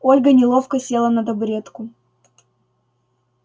ольга неловко села на табуретку